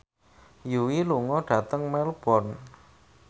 Yui lunga dhateng Melbourne